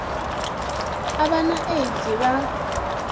u vha na aids vha